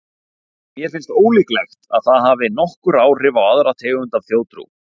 En mér finnst ólíklegt að það hafi nokkur áhrif á aðra tegund af þjóðtrú.